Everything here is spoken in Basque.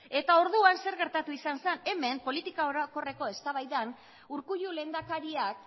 orduan zer gertatu izan zen hemen politika orokorreko eztabaidan urkullu lehendakariak